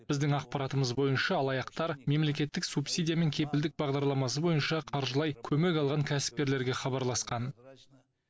біздің ақпаратымыз бойынша алаяқтар мемлекеттік субсидия мен кепілдік бағдарламасы бойынша қаржылай көмек алған кәсіпкерлерге хабарласқан